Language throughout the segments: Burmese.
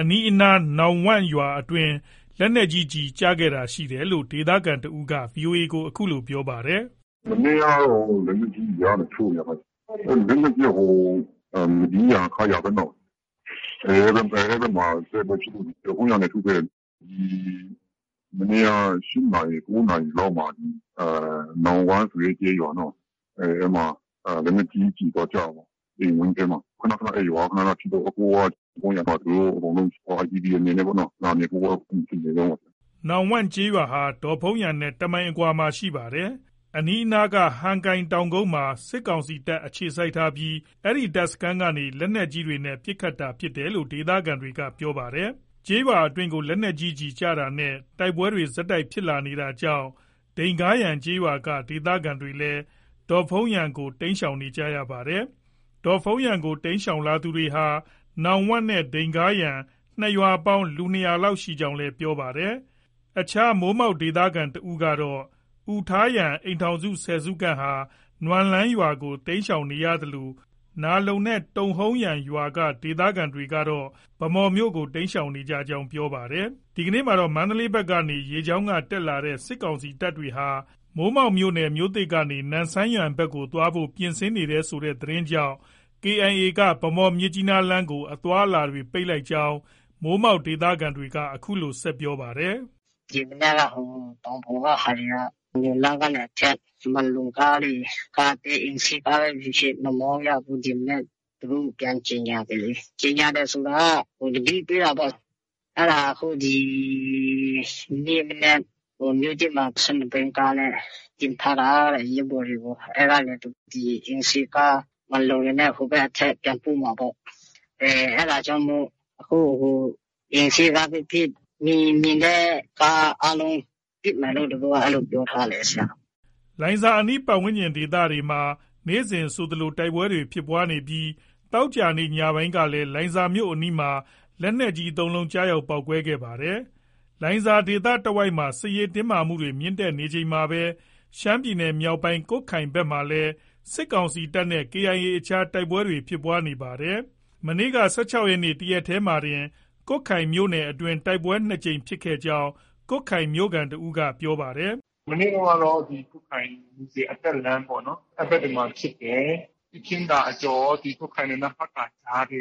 အနီးနား နောင်ဝမ့်ရွာအတွင်း လက်နက်ကြီး ကျည်ကျတာရှိတယ်လို့ ဒေသခံတဦးက VOA ကိုအခုလိုပြောပါတယ်။ “မနေ့ကတော့ လက်နက်ကြီးတွေ ဒီကနေထုနေတာလေ။ လက်နက်ကြီးက မဒီးယန်၊ ခရာဘက်နော။ အဲဒီဘက်မှာ တိုက်ပွဲဖြစ်လို့ ဒေ့ါဖုန်းယန်ကနေ ထုပေးတယ်။ ဒီမနေ့က၈နာရီ၊၉နာရီလောက်မှာ နောင်ဝမ့်ဆိုတဲ့ကျေးရွာနော။ အဲဒီမှာ လက်နက်ကြီးကျည်သွားကျတာပေါ့။ အိမ်ဝန်းထဲမှာ။ အဲဒီရွာက ခနခနဖြစ်တော့ အခုကဒေါ့ဖုန်းယန်မှာ IDP အနေနဲ့လာနေဖို့ ပြင်ဆင်နေတုန်းပေါ့။ ” နောင်ဝမ့်ကျေးရွာဟာ ဒေါ့ဖုန်းယန်နဲ့ တမိုင်အကွာလောက်မှာ ရှိပါတယ်။ အနီးနားက ဟန်ကိုင်တောင်ကုန်းမှာ စစ်ကောင်စီတပ် အခြေစိုက်ထားပြီး အဲဒီတပ်စခန်းက နေ လက်နက်ကြီးတွေနဲ့ ပစ်ခတ်တာဖြစ်တယ်လို့ ဒေသခံတွေက ပြောပါတယ်။ ကျေးရွာ အတွင်းကိုလက်နက်ကြီးကျည် ကျတာနဲ့ တိုက်ပွဲတွေ ဆက်တိုက်ဖြစ်လာနေတာကြောင့် ဒိန်ဂါယန်ကျေးရွာက ဒေသခံတွေလည်း ဒေ့ါဖုန်းယန်ကို တိမ်းရှောင်နေကြရပါတယ်။ ဒေါ့ဖုန်းယန်ကို တိမ်းရှောင်လာသူဟာ နောင်ဝမ့်နဲ့ ဒိန်ဂါယန် ၂ ရွာပေါင်း လူ၂၀၀လောက် ရှိကြောင်းလည်း ပြောပါတယ်။ အခြားမိုးမောက်ဒေသခံ တဦးကတော့ အူထာယန် အိမ်ထောင်စု ၁၀ စု ခန့်ဟာ နွမ်လန်းရွာကို တိမ်းရှောင်နေရသလို နားလုံနဲ့ တုန်ဟုန်းယန်ရွာက ဒေသခံတွေကတော့ ဗန်းမော်မြို့ကို တိမ်းရှောင်နေကြောင်း ပြောပါတယ်။ ဒီနေ့မှာတော့ မန္တလေးဘက်က ရေကြောင်းက တက်လာတဲ့ စစ်ကောင်စီတပ်တွေဟာ မိုးမောက်မြို့နယ် မြို့သစ်ကနေ နမ့်ဆန်ယန်ဘက်ကို သွားဖို့ ပြင်ဆင်နေတယ်ဆိုတဲ့ သတင်းကြောင့် KIA ကဗန်းမော်-မြစ်ကြီးနားလမ်းကို အသွားအလာ ပိတ်လိုက်ကြောင်း မိုးမောက်ဒေသခံက အခုလိုဆက်ပြောပါတယ်။ “ဒီမနက်က ဟိုတောင်ပေါ်က ဟာတွေက နွမ်လန်းကနေ အထက်မှန်လုံကားတွေ၊ ကားအသေး အိမ်စီးကားပဲဖြစ်ဖြစ် မမောင်းရဘူးလို့ ဒီမနက် သူတို့ပြန်ကြေညာပြီလေ။ ကြေညာတယ်ဆိုတာက သတိပေးတာပေါ့။ အဲဒါဒီကနေ့မနက်မြို့သစ်မှာ ၁၂ ဘီးကားနဲ့ တင်ထားတာတဲ့ ရဲဘော်တွေကို။ အဲဒါကို အိမ်စီးကား မှန်လုံတွေနဲ့ ဟိုဘက် အထက်ပြန်ပို့မှာပေါ့။ အဲဒါကြောင့်မို့ အခုဟိုအိမ်စီးကားပဲဖြစ်ဖြစ် မြင်ရင် မြင်တဲ့ ကားအားလုံး ပစ်မယ်လို့ သူတို့က အဲလိုပြောထားတယ်။ ” လိုင်ဇာအနီး ပတ်ဝန်းကျင်ဒေသမှာ နေ့စဉ်ဆိုသလို တိုက်ပွဲတွေဖြစ်နေပြီး သောကြာနေ့ညပိုင်းကလည်း လိုင်ဇာမြို့အနီးမှာ လက်နက်ကြီး ၃လုံးကျရောက်ပေါက်ကွဲခဲ့ပါတယ်။ လိုင်ဇာဒေသတဝိုက်မှာ စစ်ရေးတင်းမာမှုတွေမြင့်တက်နေချိန်မှာပဲ ရှမ်းပြည်နယ်မြောက်ပိုင်း ကွတ်ခိုင်ဘက်မှာလည်း စစ်ကောင်စီတပ်နဲ့ KIA အကြားတိုက်ပွဲဖြစ်ပွားနေပါတယ်။ မနေ့က၁၆ရက်နေ့ တရက်တည်းမှာတင် ကွတ်ခိုင်မြို့နယ်အတွင်း တိုက်ပွဲ ၂ ကြိမ်ဖြစ်ခဲ့ကြောင်း ကွတ်ခိုင်မြို့ခံတစ်ဦးက ပြောပါတယ်။ “ မနေ့တုန်းကတော့ ဒီကွတ်ခိုင် မူဆယ်အတက်လမ်းပေါ့။ အဲဒီဘက်တွေမှာဖြစ်တယ်။ ရှုခင်းသာအကျော်၊ ကွတ်ခိုင်နဲ့ နမ့်ဖတ်ကာကြားက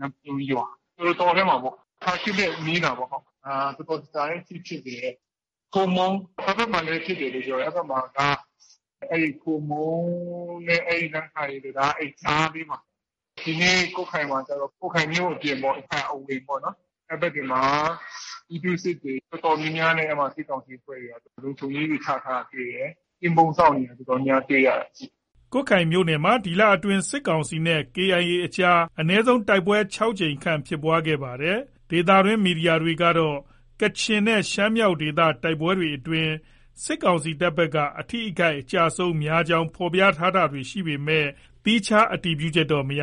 နမ့်ဖလွန်းရွာ၊တောထဲမှာပေါ့။ ဖာခေတ်နဲ့ နီးတာပေါ့။ တော်တော်ကြာကြာလေးထိဖြစ်တယ်။ ဟိုမုံး အဲဒီဘက်မှာလည်းဖြစ်တယ်လို့ ပြောတယ်။ အဲဒီဘက်မှာက ဟိုမုံးနဲ့ နမ့်ခိုင်တံတားကြားလေးမှာ။ ဒီနေ့ကွတ်ခိုင်မှာကျတော့ ကွတ်ခိုင်မြို့အပြင်ပေါ့။ ကွတ်ခိုင်အဝင်ပေါ့။ အဲဒီဘက်တွေမှာ ပြည်သူ့စစ်တွေ အတော်များများနဲ့ စစ်ကောင်စီအဖွဲ့တွေက လုံခြုံရေးတွေ ချထားတာ တွေ့တယ်။ ကင်းပုန်းစောင့်နေတာ တော်တော်များများ တွေ့ရတယ်။” ကွတ်ခိုင်မြို့နယ်မှာ ဒီလအတွင်း စစ်ကောင်စီနဲ့ KIA အကြား အနည်းဆုံး တိုက်ပွဲ ၆ ကြိမ်ခန့်ဖြစ်ပွား ခဲ့ပါတယ်။ ဒေသတွင်း သတင်းမီဒီယာတွေ ကတော့ ကချင်နဲ့ ရှမ်းမြောက်ဒေသ တိုက်ပွဲတွေအတွင်း စစ်ကောင်စီတပ်ဘက်က အထိအခိုက် အကျအဆုံး များကြောင်း ဖော်ပြတာတွေရှိပေမဲ့ သီးခြား အတည်ပြုချက်တော့ မရ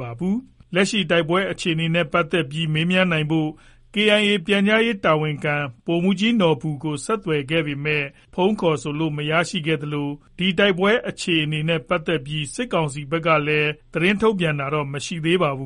ပါဘူး။ လက်ရှိ တိုက်ပွဲအခြေအနေနဲ့ပတ်သက်ပြီး မေးမြန်းနိုင်ဖို့ KIA ပြန်ကြားရေးတာဝန်ခံ ဗိုလ်မှုးကြီးနော်ဘူကို ဆက်သွယ်ခဲ့ပေမဲ့ ဖုန်းခေါ်ဆိုလို့ မရခဲ့သလို ဒီတိုက်ပွဲ အခြေအနေနဲ့ပတ်သက်ပြီး စစ်ကောင်စီဘက်ကလည်း သတင်းထုတ်ပြန်တာတော့ မရှိပါဘူး